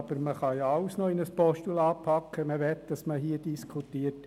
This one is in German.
Aber man kann alles in ein Postulat packen, wenn man möchte, dass man hier darüber diskutiert.